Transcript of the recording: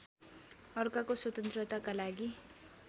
अर्काको स्वतन्त्रताका लागि